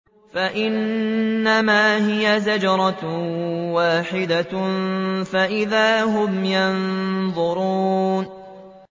فَإِنَّمَا هِيَ زَجْرَةٌ وَاحِدَةٌ فَإِذَا هُمْ يَنظُرُونَ